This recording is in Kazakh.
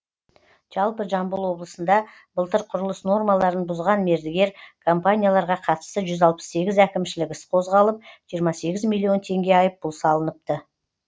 жалпы жамбыл облысында былтыр құрылыс нормаларын бұзған мердігер компанияларға қатысты жүз алпыс сегіз әкімшілік іс қозғалып жиырма сегіз миллион теңге айыппұл салыныпты